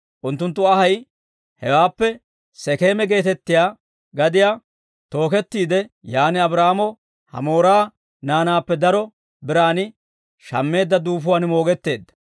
Unttunttu anhay hewaappe Sekeema geetettiyaa gadiyaa tookettiide, yaan Abraahaamo Hamoora naanaappe daro biraan shammeedda duufuwaan moogetteedda.